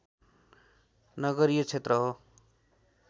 नगरीय क्षेत्र हो